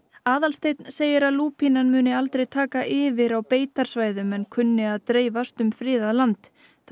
Aðalsteinn segir að lúpínan muni aldrei taka yfir á beitarsvæðum en kunni að dreifast um friðað land það